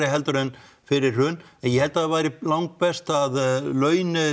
heldur en fyrir hrun en ég held að það væri langbest að laun